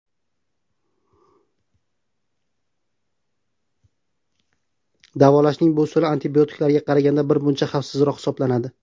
Davolashning bu usuli antibiotiklarga qaraganda bir muncha xavfsizroq hisoblanadi.